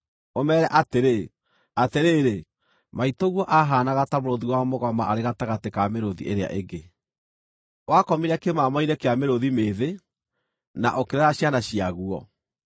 ũmeere atĩrĩ: “ ‘Atĩrĩrĩ, maitũguo ahaanaga ta mũrũũthi wa mũgoma arĩ gatagatĩ ka mĩrũũthi ĩrĩa ĩngĩ! Wakomire kĩmamo-inĩ kĩa mĩrũũthi mĩĩthĩ, na ũkĩrera ciana ciaguo.